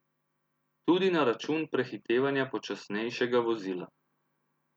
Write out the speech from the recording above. Tudi na račun prehitevanja počasnejšega vozila.